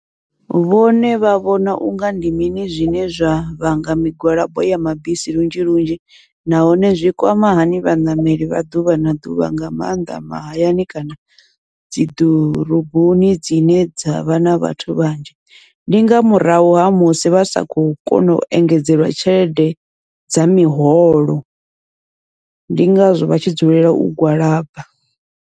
Vhone vha vhona unga ndi mini zwine zwa vhanga migwalabo ya mabisi lunzhi lunzhi, nahone zwi kwama hani vhaṋameli vha ḓuvha na ḓuvha nga maanḓa mahayani kana dzi ḓoroboni dzine dzavha na vhathu vhanzhi, ndi nga murahu ha musi vha sa kho kona u engedzeliwa tshelede dza miholo, ndi ngazwo vha tshi dzulela u gwalaba.